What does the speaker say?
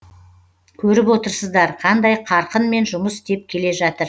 көріп отырсыздар қандай қарқынмен жұмыс істеп келе жатыр